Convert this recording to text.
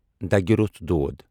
دَگہِ روس دود